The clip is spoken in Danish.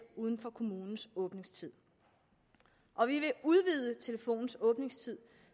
uden for kommunens åbningstid og vi vil udvide telefonens åbningstid